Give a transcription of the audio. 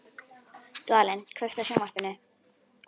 Dvalinn, kveiktu á sjónvarpinu.